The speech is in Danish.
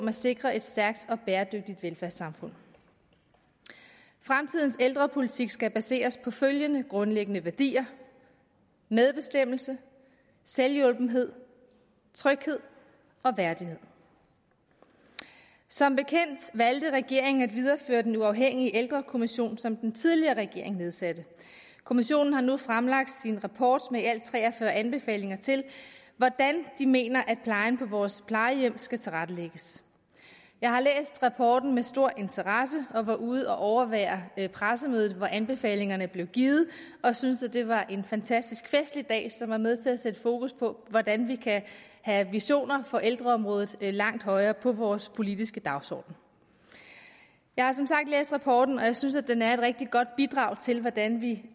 at sikre et stærkt og bæredygtigt velfærdssamfund fremtidens ældrepolitik skal baseres på følgende grundlæggende værdier medbestemmelse selvhjulpenhed tryghed og værdighed som bekendt valgte regeringen at videreføre den uafhængige ældrekommission som den tidligere regering nedsatte kommissionen har nu fremlagt sin rapport med i alt tre og fyrre anbefalinger til hvordan de mener at plejen på vores plejehjem skal tilrettelægges jeg har læst rapporten med stor interesse og var ude at overvære pressemødet hvor anbefalingerne blev givet og synes at det var en fantastisk festlig dag som var med til at sætte fokus på hvordan vi kan have visioner for ældreområdet langt højere oppe på vores politiske dagsorden jeg har som sagt læst rapporten og jeg synes den er et rigtig godt bidrag til hvordan vi